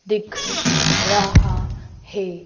दिख रहा है।